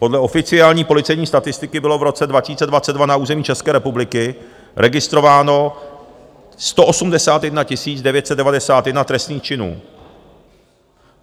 Podle oficiální policejní statistiky bylo v roce 2022 na území České republiky registrováno 181 991 trestných činů.